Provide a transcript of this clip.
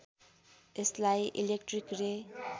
यसलाई इलेक्ट्रिक रे